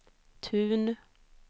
Tun